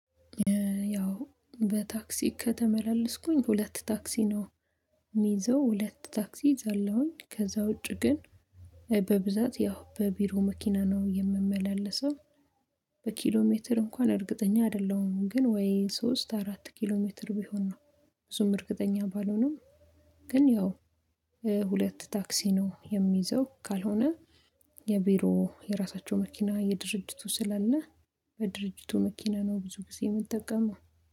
ያው በታክሲ ከተመላለስኩኝ ሁለት ታክሲ ነው። የምይዘው ሁለት ታክሲ እይዛለሁኝ ከዛ ውጪ ግን በብዛት ያው በቢሮ መኪና ነው የምመላለሰው። ሜትር እንኳን እርግጠኛ አይደለሁም ግን ወይ ሶስት አራት ኪሎ ሜትር ቢሆን ነው። ብዙም እርግጠኛ ባልሆንም። ግን ያው ሁለት ታክሲ ነው የሚይዘው ካልሆነ የቢሮ የራሳቸው መኪና የድርጅቱ ስላለ በድርጅቱ መኪና ነው ብዙ ጊዜ የምጠቀመው